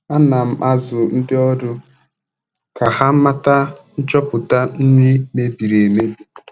Ana m azụ ndị ọrụ m ka ha mata nchopụta nri mebiri emebi.